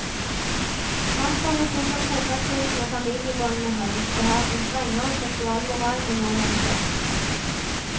Taterne setter trofastheten og familiebåndene høyt, og har en strengere seksualmoral enn nordmenn flest.